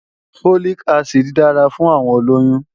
Folic acid dára fún àwọn olóyún